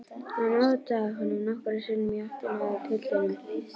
Hann otaði honum nokkrum sinnum í áttina að piltinum.